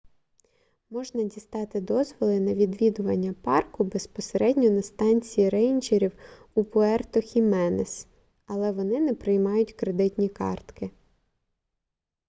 можна дістати дозволи на відвідування парку безпосередньо на станції рейнджерів у пуерто-хіменес але вони не приймають кредитні картки